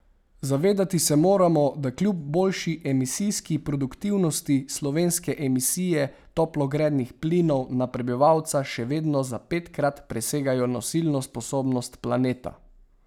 Zavedati se moramo, da kljub boljši emisijski produktivnosti slovenske emisije toplogrednih plinov na prebivalca še vedno za petkrat presegajo nosilno sposobnost planeta.